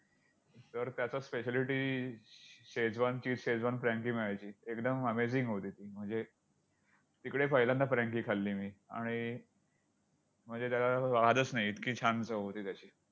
तर त्याचा spciality शेजवानची! शेजवान frankie मिळायची, एकदम amazing होती ती! म्हणजे तिकडे पहिल्यांदा frankie खाल्ली मी आणि म्हणजे त्याला वादच नाही इतकी छान चव होती त्याची!